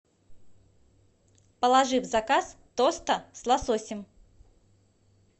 положи в заказ тоста с лососем